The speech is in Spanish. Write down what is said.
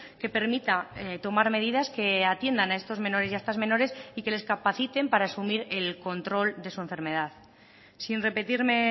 que permita tomar medidas que atiendan a estos menores y a estas menores y que les capaciten para asumir el control de su enfermedad sin repetirme